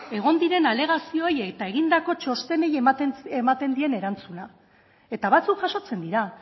egon diren alegazioei eta egindako txostenei ematen dien erantzuna eta batzuk jasotzen dira